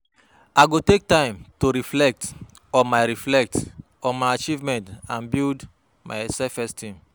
Each setback dey teach me valuable lessons; I gats focus on the growth.